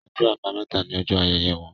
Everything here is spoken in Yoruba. Ọjọ́ Àbàmẹ́ta ní ojó ayẹyẹ wón